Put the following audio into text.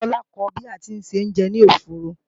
Ìyá Tola ko ba ti ń ṣe oúnjẹ ní ọ̀fọ́ọ̀rọ̀